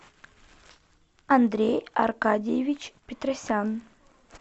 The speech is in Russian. андрей аркадиевич петросян